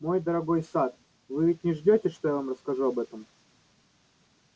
мой дорогой сатт вы ведь не ждёте что я вам расскажу об этом